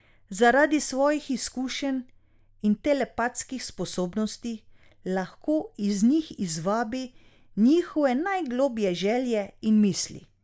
Zaradi svojih izkušenj in telepatskih sposobnosti lahko iz njih izvabi njihove najgloblje želje in misli.